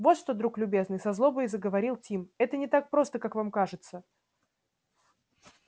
вот что друг любезный со злобой заговорил тим это не так просто как вам кажется